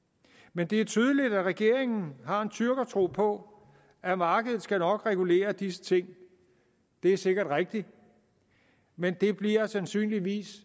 men det er tydeligt at regeringen har en tyrkertro på at markedet nok skal regulere disse ting det er sikkert rigtigt men det bliver sandsynligvis